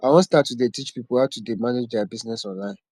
i wan start to dey teach people how to dey manage their business online